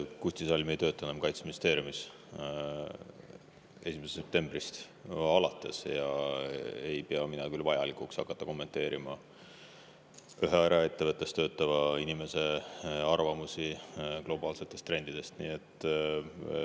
Kusti Salm ei tööta 1. septembrist alates enam Kaitseministeeriumis ja mina ei pea küll vajalikuks hakata kommenteerima ühe eraettevõttes töötava inimese arvamusi globaalsete trendide kohta.